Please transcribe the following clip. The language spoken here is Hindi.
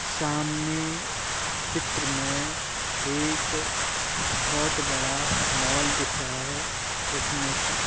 सामने चित्र में एक बोहोत बड़ा मॉल दिख रहा है। उसमें का --